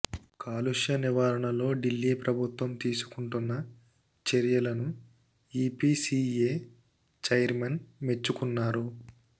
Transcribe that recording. కాలుష్య నివారణలో ఢిల్లీ ప్రభుత్వం తీసుకుంటున్న చర్యలను ఈపీసీఏ చైర్మన్ మెచ్చుకున్నారు